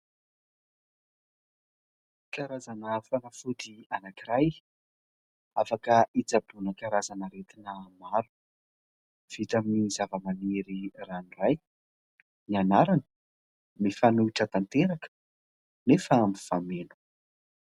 Karazana fanafody anankiray, afaka hitsaboana karazana aretina maro. Vita amin'ny zavamaniry ranoray ; ny anarany mifanohitra tanteraka nefa mifameno.